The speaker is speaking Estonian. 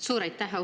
Suur aitäh!